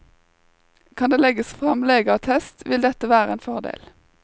Kan det legges frem legeattest, vil dette være en fordel.